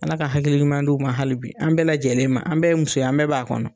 Ala ka hakili ɲuman d'u ma hali bi, an bɛɛ lajɛlen ma, an bɛɛ ye muso ye an bɛɛ b'a kɔnɔ.